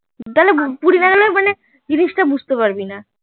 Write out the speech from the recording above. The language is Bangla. জিনিসটা বুজতে পারবি না